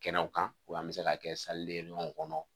Kɛnɛw kan u b'an bɛ se k'a kɛ w kɔnɔ